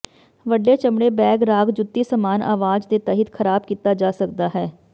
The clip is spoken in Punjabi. ਵੱਡੇ ਚਮੜੇ ਬੈਗ ਰਾਗ ਜੁੱਤੀ ਸਮਾਨ ਆਵਾਜ਼ ਦੇ ਤਹਿਤ ਖਰਾਬ ਕੀਤਾ ਜਾ ਸਕਦਾ ਹੈ